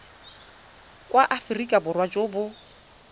jwa aforika borwa jo bo